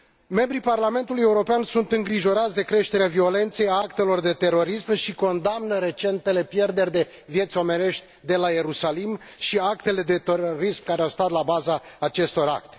Membrii Parlamentului European sunt îngrijorați de creșterea violenței, a actelor de terorism și condamnă recentele pierderi de vieți omenești de la Ierusalim și actele de terorism care au stat la baza acestora.